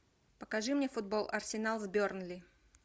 покажи мне футбол арсенал с бернли